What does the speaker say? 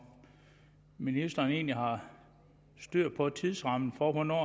ministeren egentlig har styr på tidsrammen for hvornår